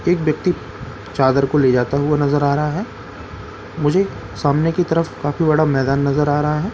एक व्यक्ति चादर को ले जाता हुए नजर आ रहा है मुझे सामने की तरफ काफी बड़ा मैदान नजर आ रहा है।